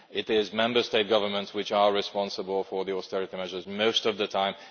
It is Member State governments which are responsible for the austerity measures most of the time.